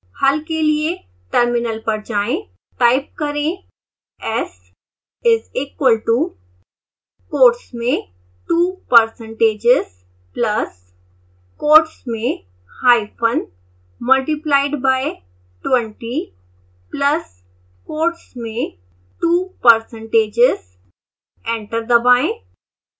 हल के लिए टर्मिनल पर जाएं टाइप करें s is equal to quotes में two percentages plus quotes में hyphen multiplied by twenty plus quotes में two percentages एंटर दबाएं